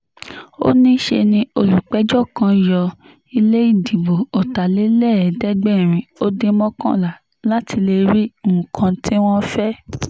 ó ní ṣe ni olùpẹ̀jọ́ kan yọ ilé ìdìbò ọ̀tàlélẹ́ẹ̀ẹ́dẹ́gbẹ̀rin ó dín mọ́kànlá láti lè rí nǹkan tí wọ́n fẹ́